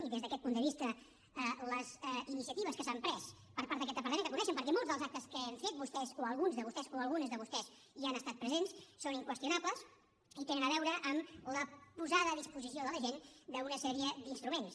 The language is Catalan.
i des d’aquest punt de vista les iniciatives que s’han pres per part d’aquest departament que les coneixen perquè molts dels actes que hem fet vostès o alguns de vostès o algunes de vostès hi han estat presents són inqüestionables i tenen a veure amb la posada a disposició de la gent d’una sèrie d’instruments